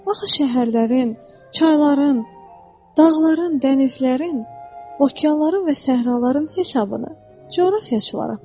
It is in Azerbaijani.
Axı şəhərlərin, çayların, dağların, dənizlərin, okeanların və səhraların hesabını coğrafiyaçılar aparır.